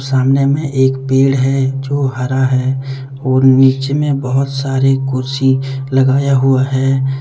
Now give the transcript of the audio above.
सामने में एक पेड़ है जो हरा है और नीचे में बहुत सारे कुर्सी लगाया हुआ है।